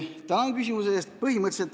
Tänan küsimuse eest!